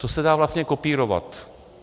To se dá vlastně kopírovat.